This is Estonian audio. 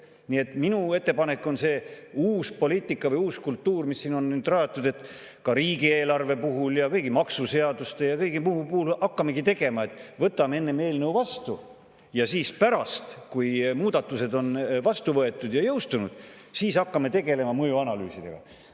Nii et minu ettepanek on selle uue poliitika või uue kultuuri kohta, mis siin on nüüd rajatud, et ka riigieelarve, kõigi maksuseaduste ja kõigi muude eelnõude puhul hakkamegi tegema nii, et võtame enne eelnõu vastu ja pärast, kui muudatused on vastu võetud ja jõustunud, hakkame tegelema mõjuanalüüsidega.